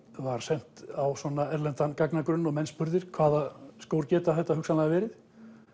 var sent á svona erlendan gagnagrunn og menn spurðir hvaða skór geta þetta hugsanlega verið